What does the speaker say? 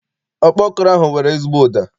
Ọkpọkọrọ ahụ nwere ezigbo ụda.